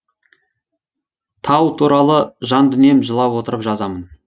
тау туралы жан дүнием жылап отырып жазамын